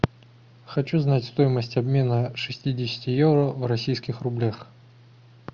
хочу знать стоимость обмена шестидесяти евро в российских рублях